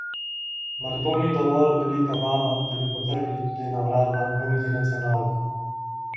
Mar to ni dovolj velika vaba, da bi potrkali tudi na vrata multinacionalk?